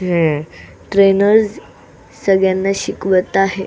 हे ट्रेनर सगळ्याना शिकवत आहे.